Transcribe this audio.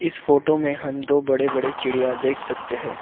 इस फोटो में हम दो बड़े बड़े चिड़िया देख सकते हैं।